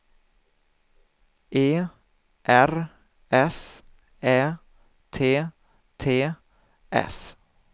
E R S Ä T T S